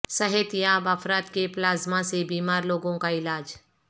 صحت یاب افراد کے پلازمہ سے بیمار لوگوں کا علاج